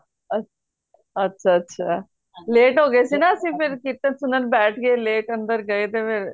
ਅੱਛਾ ਅੱਛਾ late ਹੋ ਗਏ ਸੀ ਨਾ ਅੱਸੀ ਫੇਰ ਕੀਰਤਨ ਸੁਣਨ ਬੈਠ ਗਏ late ਅੰਦਰ ਗਏ ਤੇ ਫੇਰ